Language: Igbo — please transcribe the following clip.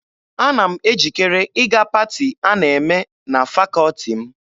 Ana m ejikere ịga paati a na-eme na fakọọti m.